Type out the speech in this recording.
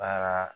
Baara